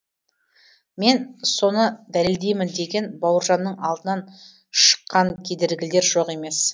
мен соны дәлелдеймін деген бауыржанның алдынан шыққан кедергілер жоқ емес